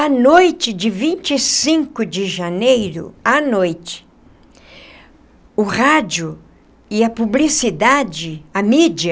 À noite de vinte e cinco de janeiro, à noite, o rádio e a publicidade, a mídia,